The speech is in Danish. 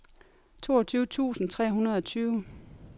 toogtyve tusind tre hundrede og tyve